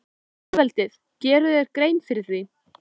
Lýðveldið, gerirðu þér grein fyrir því?